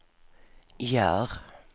gör